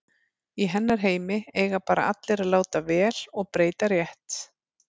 Í hennar heimi eiga bara allir að láta vel og breyta rétt.